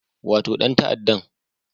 Wato dan ta'addan